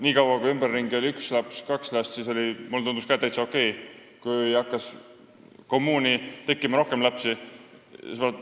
Nii kaua, kui ümberringi oli üks laps või kaks last, siis mulle tundus see ka täitsa okei, aga siis hakkas kommuuni tekkima rohkem lapsi.